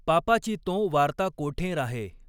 पापाची तॊं वार्ता कॊठॆं राहॆ.